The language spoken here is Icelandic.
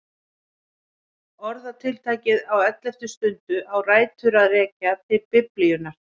Orðatiltækið á elleftu stundu á rætur að rekja til Biblíunnar.